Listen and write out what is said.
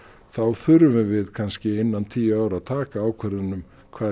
þá þurfum við kannski innan tíu ára að taka ákvörðun um hvað